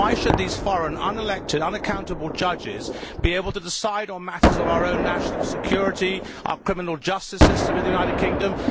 Why should these foreign, unelected and unaccountable judges be able to decide on matters of our own national security and our criminal justice system in the United Kingdom?